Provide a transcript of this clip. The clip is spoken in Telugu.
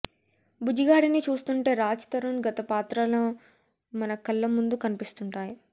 బుజ్జిగాడిని చూస్తుంటే రాజ్ తరుణ్ గత పాత్రలు మన కళ్ల ముందు కనిపిస్తుంటాయి